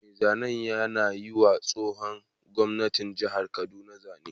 Mai zanen yana yiwa tsohon gwamnan jihar kaduna zane